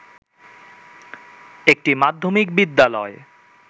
একটি মাধ্যমিক বিদ্যালয়